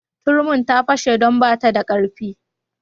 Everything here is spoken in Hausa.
Turmin ta fashe don ba ta da karfi.